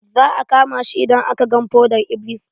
Za a kama shi idan aka gan fodar-iblis.